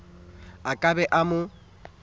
a ka be a mo